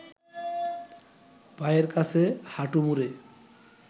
পায়ের কাছে হাঁটু মুড়ে